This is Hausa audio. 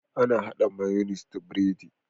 Ana hada mayonnaise da biredi